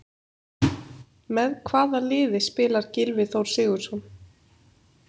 Með hvaða liði spilar Gylfi Þór Sigurðsson?